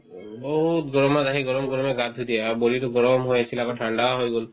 উম, বহুত গৰমত আহি গৰমে গৰমে গা ধুই দিয়ে আৰু body তো গৰম হৈ আছিলে আকৌ ঠাণ্ডা হৈ গ'ল